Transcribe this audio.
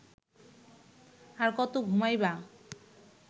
আর কত ঘুমাইবা